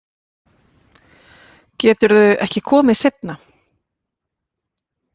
Geturðu ekki komið seinna?